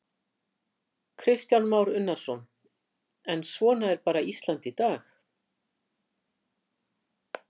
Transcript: Kristján Már Unnarsson: En svona er bara Ísland í dag?